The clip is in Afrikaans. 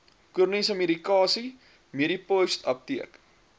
chroniese medikasie medipostapteek